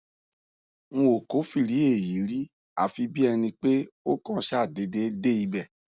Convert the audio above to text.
n ò kófìrí èyí rí àfi bí ẹni pé ó kàn ṣàdéédé dé ibẹ